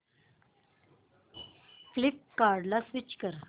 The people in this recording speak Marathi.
फ्लिपकार्टं ला स्विच कर